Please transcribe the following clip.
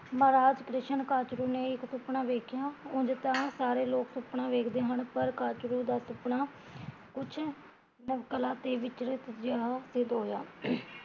ਮਹਾ ਰਾਤ ਕ੍ਰਿਸ਼ਨ ਕਾਚਰੂ ਨੇ ਇੱਕ ਸੁਪਨਾ ਵੇਖਿਆ ਉਂਜ ਤਾਂ ਸਾਰੇ ਲੋਕ ਸੁਪਨਾ ਵੇਖਦੇ ਹਨ ਪਰ ਕਾਚਰੂ ਦਾ ਸੁਪਨਾ ਕੁਛ ਨਵਕਲਾ ਤੇ ਵਿਚਰਤ ਜਿਹਾ ਸਿੱਧ ਹੋਇਆ